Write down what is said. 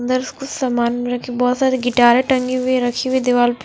इदर्स कुछ समान रखे बहोत सारी गिटारे टंगी हुई रखी हुई दीवाल पे--